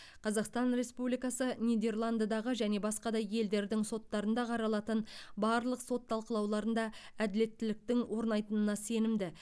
қазақстан республикасы нидерландыдағы және басқа да елдердің соттарында қаралатын барлық сот талқылауларында әділеттіліктің орнайтынына сенімді